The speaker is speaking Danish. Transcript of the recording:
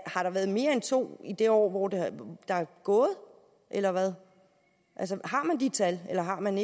har der været mere end to i det år der er gået eller hvad altså har man de tal eller har man